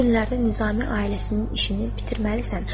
Bu günlərdə Nizami ailəsinin işini bitirməlisən.